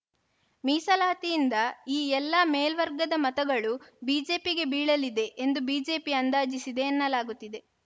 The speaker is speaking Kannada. ಮೀಸಲಾತಿಯಿಂದ ಈ ಎಲ್ಲಾ ಮೇಲ್ವರ್ಗದ ಮತಗಳು ಬಿಜೆಪಿಗೆ ಬೀಳಲಿವದೆ ಎಂದು ಬಿಜೆಪಿ ಅಂದಾಜಿಸಿದೆ ಎನ್ನಲಾಗುತ್ತಿದೆ